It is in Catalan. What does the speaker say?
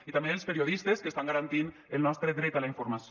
i també els periodistes que estan garantint el nostre dret a la informació